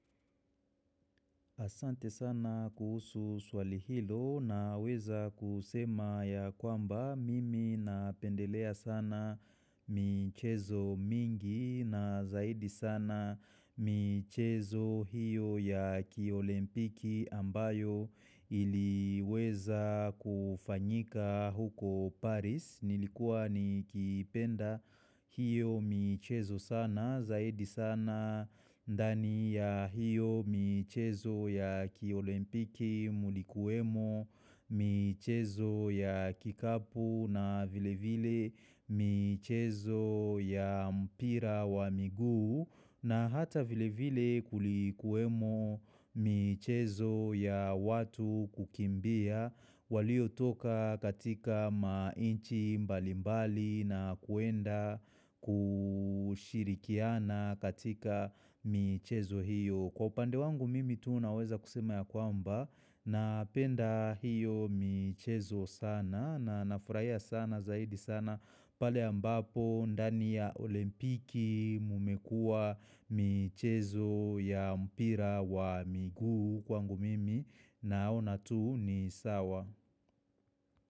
Asante sana kuhusu swali hilo na weza kusema ya kwamba mimi napendelea sana. Michezo mingi na zaidi sana michezo hiyo ya kiolimpiki ambayo iliweza kufanyika huko Paris. Nilikuwa nikipenda hiyo michezo sana, zaidi sana ndani ya hiyo michezo ya kiolimpiki, ilikuemo, michezo ya kikapu na vile vile michezo ya mpira wa miguu. Na hata vile vile kulikuwemo michezo ya watu kukimbia walio toka katika inchi mbali mbali na kuenda kushirikiana katika michezo hiyo. Kwa upande wangu mimi tu naweza kusema ya kwamba napenda hiyo michezo sana na nafurahia sana zaidi sana pale ambapo ndani ya olimpiki mumekua michezo ya mpira wa miguu kwangu mimi naona tu ni sawa.